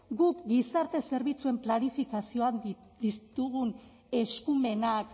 guk gizarte zerbitzuen planifikazioan ditugun eskumenak